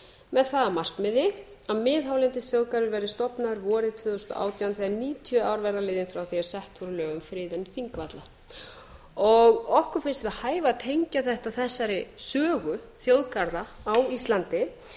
með það að markmiði að miðhálendisþjóðgarður verði stofnaður vorið tvö þúsund og átján þegar níutíu ár verða liðin frá því að sett voru lög um friðun þingvalla okkur finnst við hæfi að tengja þetta þessari sögu þjóðgarða á íslandi en